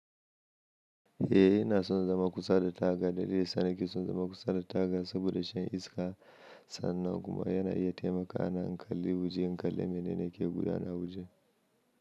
Eh, yana son zama kusa da taga. Dalilin sa ne yake son zama kusa da taga saboda shan iska. Sannan kuma yana iya taimakawa na in kalli waje in kalli mene ne yake gudana waje.